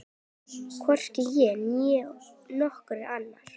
Hvorki ég né nokkur annar.